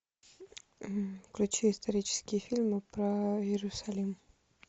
включи исторические фильмы про иерусалим